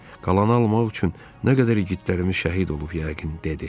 Qalanı almaq üçün nə qədər igidlərimiz şəhid olub yəqin, – dedi.